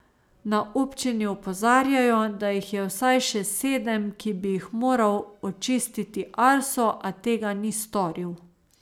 Na občini opozarjajo, da jih je vsaj še sedem, ki bi jih moral očistiti Arso, a tega ni storil.